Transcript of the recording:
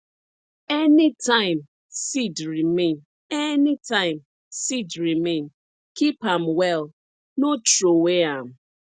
anytime seed remain anytime seed remain keep am well no throway am